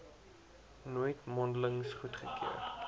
nooit mondelings goedgekeur